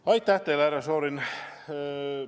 Aitäh teile, härra Šorin!